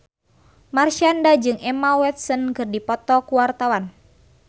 Marshanda jeung Emma Watson keur dipoto ku wartawan